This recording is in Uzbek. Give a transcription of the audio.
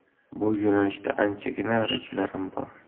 Bu yo‘nalishda anchagina rejalarim bor.